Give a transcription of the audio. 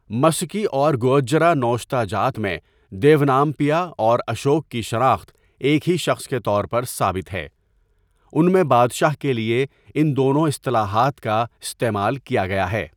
مسکی اور گوجرّہ نوشتہ جات میں دیونام پیا اور اشوک کی شناخت ایک ہی شخص کے طور پرثابت ہے، ان میں بادشاہ کے لیے ان دونوں اصطلاحات کا استعمال کیا گیا ہے۔